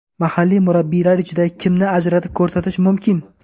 Mahalliy murabbiylar ichida kimni ajratib ko‘rsatish mumkin?